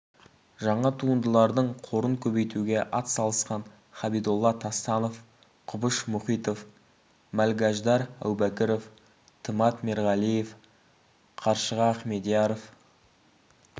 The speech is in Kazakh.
жаңа туындылардың қорын көбейтуге атсалысқан хабидолла тастанов құбыш мұхитов мәлгаждар әубәкіров тымат мерғалиев қаршыға ахмедияров